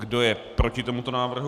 Kdo je proti tomuto návrhu?